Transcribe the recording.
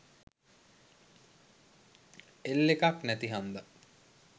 L එකක් නැති හන්ද